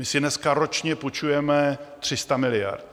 My si dneska ročně půjčujeme 300 miliard.